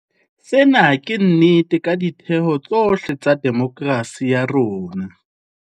Sena ke nnete ka ditheo tsohle tsa demokerasi ya rona.